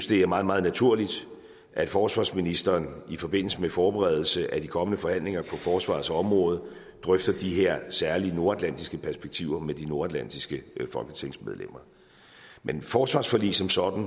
det er meget meget naturligt at forsvarsministeren i forbindelse med forberedelse af de kommende forhandlinger på forsvarets område drøfter de her særlige nordatlantiske perspektiver med de nordatlantiske folketingsmedlemmer men et forsvarsforlig som sådan